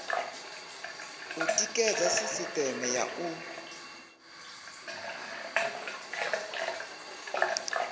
u tikedza sisiteme ya u